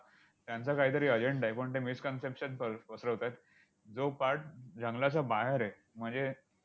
त्यांचा काहीतरी agenda आहे. पण ते miss conception कळ पसरावतायत. जो part जंगलाच्या बाहेर आहे, म्हणजे